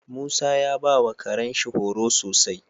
Musa ya bawa Karen shi horo sosai